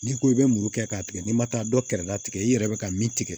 N'i ko i bɛ muru kɛ k'a tigɛ n'i ma taa dɔ kɛrɛda tigɛ i yɛrɛ bɛ ka min tigɛ